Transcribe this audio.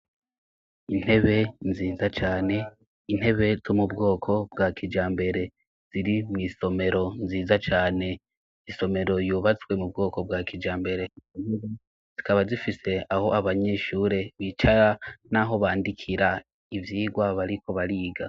Intebe nziza cane, intebe zo mu bwoko bwa kijambere. Ziri mw'isomero nziza cane, isomero yubatswe mu bwoko bwa kijambere. Zikaba zifise aho abanyeshure bicara n'aho bandikira ivyigwa bariko bariga.